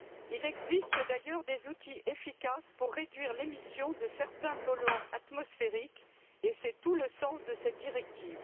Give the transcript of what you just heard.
Il existe d'ailleurs des outils efficaces pour réduire l'émission de certains polluants atmosphériques, et c'est tout le sens de cette directive.